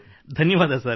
ಧನ್ಯವಾದ ಸರ್